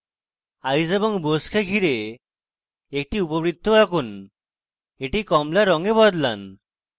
eyes এবং bows কে ঘিরে একটি উপবৃত্ত আঁকুন এটি কমলা রঙে বদলান